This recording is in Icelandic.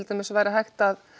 dæmis hægt að